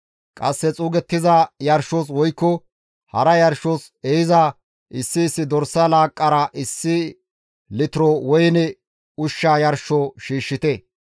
Qasse xuugettiza yarshos woykko hara yarshos ehiza issi issi dorsa laaqqara issi litiro woyne ushsha yarsho shiishshite.